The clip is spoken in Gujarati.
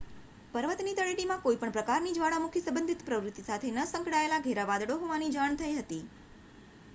પર્વતની તળેટીમાં કોઈ પણ પ્રકારની જ્વાળામુખી સંબંધિત પ્રવૃત્તિ સાથે ન સંકળાયેલાં ઘેરાં વાદળો હોવાની જાણ થઈ હતી